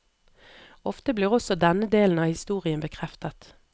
Ofte blir også denne delen av historien bekreftet.